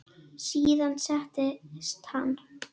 Síðan settist hann.